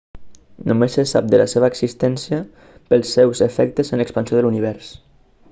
només se sap de la seva existència pels seus efectes en l'expansió de l'univers